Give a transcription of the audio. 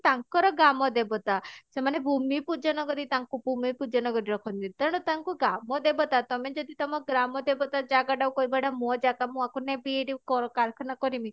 ତାଙ୍କର ଗ୍ରାମ ଦେବତା ସେମାନେ ଭୂମି ପୂଜନ କରି ତାଙ୍କୁ ଭୂମି ପୂଜନ କରି ରଖନ୍ତି ତେଣୁ ତାଙ୍କୁ ଗ୍ରାମ ଦେବତା ତମେ ଯଦି ତମ ଗ୍ରାମ ଦେବତା ଜାଗା ଟାକୁ କହିବ ଏଟା ମୋ ଜାଗା ମୁଁ ଆକୁ ନେବି ଏଠି କର କାରଖାନା କରିମି